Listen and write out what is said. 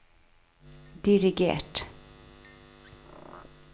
dirigert